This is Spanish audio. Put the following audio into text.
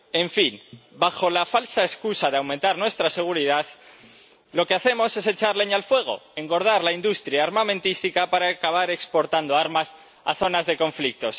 En fin, bajo la falsa excusa de aumentar nuestra seguridad, lo que hacemos es echar leña al fuego, engordar la industria armamentística para acabar exportando armas a zonas de conflicto.